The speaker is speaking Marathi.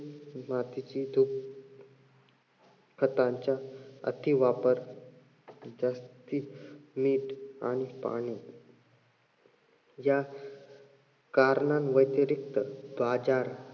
मातीची धूप खतांच्या अतिवापर जास्ती अं मीठ आणि पाणी या करणांव्यतिरिक्त बाजार